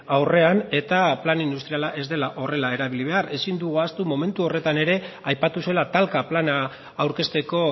aurrean eta plan industriala ez dela horrela erabili behar ezin dugu ahaztu momentu horretan ere aipatu zela talka plana aurkezteko